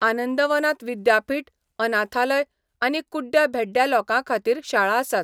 आनंदवनांत विद्यापीठ, अनाथालय आनी कुड्ड्या भेड्ड्या लोकांखातीर शाळा आसात.